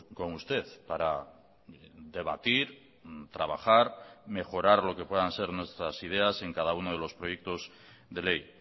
con usted para debatir trabajar mejorar lo que puedan ser nuestras ideas en cada uno de los proyectos de ley